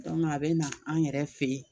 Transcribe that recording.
Dɔnku a be na an yɛrɛ fe yen